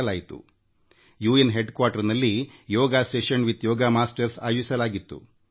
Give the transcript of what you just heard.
ಯೋಗಾ ಗುರುಗಳೊಂದಿಗೆ ಯೋಗ ಅಧಿವೇಶನವನ್ನು ವಿಶ್ವಸಂಸ್ಥೆಯ ಕೇಂದ್ರ ಕಚೇರಿಯಲ್ಲಿ ಆಯೋಜಿಸಲಾಗಿತ್ತು